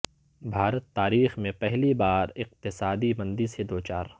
بھارت تاریخ میں پہلی بار اقتصادی مندی سے دوچار